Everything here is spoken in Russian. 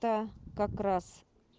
та как раз